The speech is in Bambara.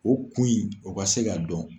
O kun in o ka se ka dɔn.